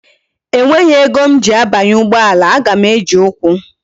E nweghi ego m ji abanye ugboala, a ga m eji ukwu